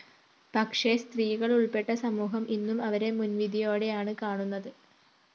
പക്ഷേ സ്ത്രീകളുള്‍പ്പെട്ട സമൂഹം ഇന്നും അവരെ മുന്‍വിധിയോടെയാണ്‌ കാണുന്നത്‌